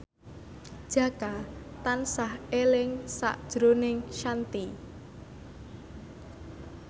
Jaka tansah eling sakjroning Shanti